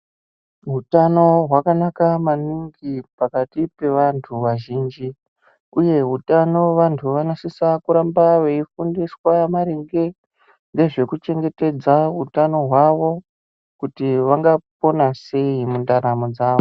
Hutano hwakanaka maningi pakati pevantu vazhinji, uye utano vantu vanosisa kuramba veifundiswa maringe ngezvekuchengetedza utano hwavo, kuti vangapona sei mundaramo dzavo.